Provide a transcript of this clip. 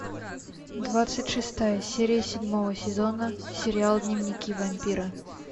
двадцать шестая серия седьмого сезона сериал дневники вампира